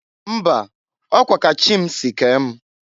Mba! Ọ kwa ka Chị si kee m.